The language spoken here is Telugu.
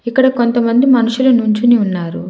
ఇక్కడ కొంత మంది మనుషులు నించోని ఉన్నారు.